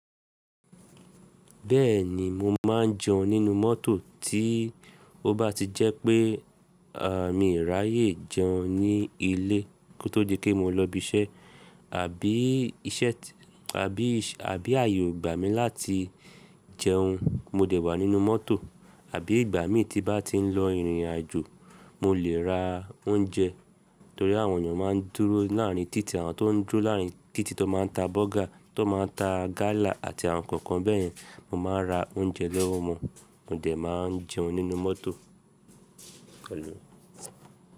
Bẹ́ẹ̀ni mo máa ń jẹun nínú mọ́tò tí ó bá ti jẹ́ pé à mi ráyè jẹun ní ilé kó tó di pé mo lọ ibi iṣẹ́. Àbí iṣẹ́ t-- àbí ì-- àbí ààyè ò gbà mí láti jẹun, mo dẹ̀ wà nínú mọ́tò. Àbí ìgbà mÍ tí bá ti ń lọ ìrìnàjò, mo lè ra oúnjẹ torí àwọn ènìyàn máa ń dúró láàárín títì, àwọn tó ń dúró láàárín títì tó máa ń ta bọ́gà, tó máa ń ta gálà àti àwọn nǹkan kan bẹ́ẹ̀ yẹn, mo máa ra oúnjẹ lọ́wọ́ wọn. Mò dẹ̀ máa ń jẹun nínú mọ́tò.